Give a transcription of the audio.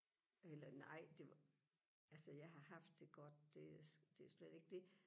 eller nej det var altså jeg har haft det godt det det slet ikke det